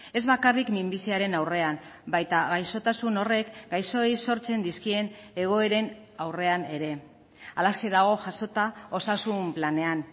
ez bakarrik minbiziaren aurrean baita gaixotasun horrek gaixoei sortzen dizkien egoeren aurrean ere halaxe dago jasota osasun planean